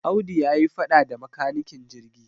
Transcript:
Audu ya yi faɗa da makanikin jirgi.